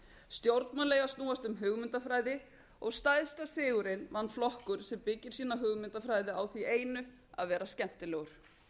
stjórnmál eiga að snúast um hugmyndafræði og stærsta sigurinn vann flokkur sem byggir sína hugmyndafræði á ári einu að vera skemmtilegur